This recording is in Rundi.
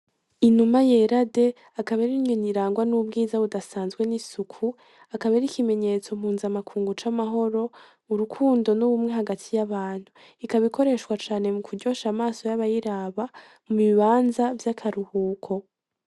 Inuma yera de akaba ari inyoni irangwa n'ubwiza budasanzwe n'isuku akaba ari ikimenyetso mpuzamakungu c'amahoro, urukundo n'ubumwe hagati y'abantu. Ikaba ikoreshwa cane mukuryosha amaso y'abayiraba mu bibanza vy'akaruhuko.